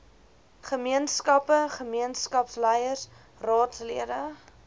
gemeenskappe gemeenskapsleiers raadslede